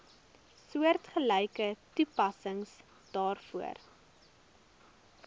soortgelyke toepassing daarvoor